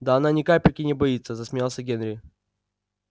да она ни капельки не боится засмеялся генри